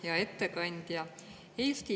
Hea ettekandja!